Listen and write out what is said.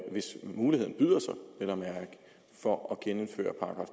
hvis muligheden byder sig for at genindføre